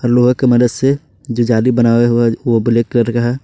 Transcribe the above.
लोहे के मदद से जो जाली बनाए हुए वो ब्लैक कलर का है।